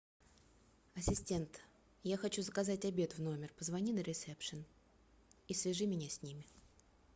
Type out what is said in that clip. ассистент я хочу заказать обед в номер позвони на ресепшн и свяжи меня с ними